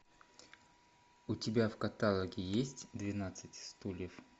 у тебя в каталоге есть двенадцать стульев